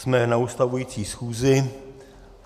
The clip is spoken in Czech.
Jsme na ustavující schůzi.